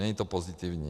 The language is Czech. Není to pozitivní.